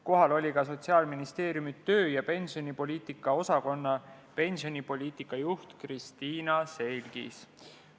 Kohal oli ka Sotsiaalministeeriumi töö- ja pensionipoliitika osakonna pensionipoliitika juht Kristiina Selgis.